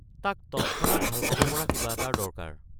তাক ত९ক্ষণাত ভাল পাব পৰা কিবা এটাৰ দৰকাৰ।